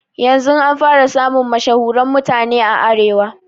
Yanzun an fara samun mashahuren mutane a arewa